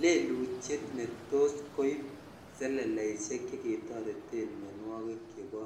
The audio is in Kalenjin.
Lelutiet netos koib seleleishek cheketoreten mionwokik chebo